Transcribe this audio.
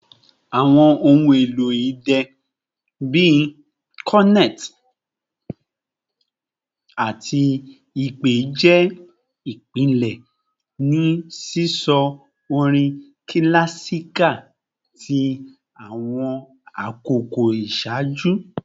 Awọn ohun elo idẹ bii cornet ati ipè jẹ ipilẹ ni sisọ orin kilasika ti awọn akoko iṣaaju